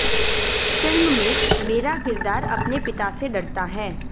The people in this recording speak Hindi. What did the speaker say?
फिल्म में मेरा किरदार अपने पिता से डरता है